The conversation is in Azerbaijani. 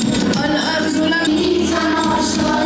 Məşhur, hamı aşiqdir.